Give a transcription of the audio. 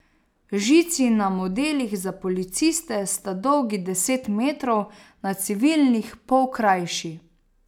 Žici na modelih za policiste sta dolgi deset metrov, na civilnih pol krajši.